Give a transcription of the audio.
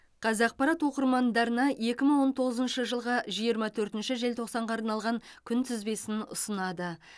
қазақпарат оқырмандарына екі мың он тоғызыншы жылғы жиырма төртінші желтоқсанға арналған күнтізбесін ұсынады